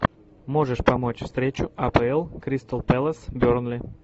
можешь помочь встречу апл кристал пэлас бернли